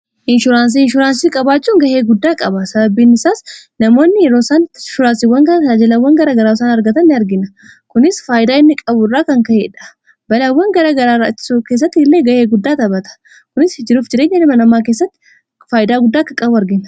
inshuraansii inshuraansii qabaachuun gahee guddaa qaba sababiin isaas namoonni yroosaan inshuraansiiwwan kanaa taajilawwan garaa garaasaan argatanni argina kunis faayidaa inni qabu irraa kan ka'eedha balaawwan garaagaraaraatso keessatti illee ga'ee guddaa tabata kunis hijiruuf jireenya lima namaa keessatti faayidaa guddaa akka qabuu argina